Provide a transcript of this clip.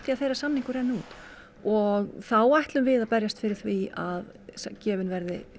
að þeirra samningur renni út og þá ætlum við að berjast fyrir því að gefin verði